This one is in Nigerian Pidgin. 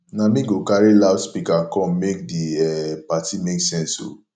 na me go carry loudspeaker come make di um party make sense o